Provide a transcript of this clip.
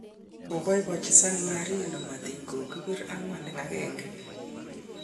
Kobaibaenji San Marino matin kokibir 4-1